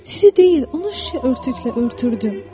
Sizi deyil, onu şüşə örtüklə örtürdüm.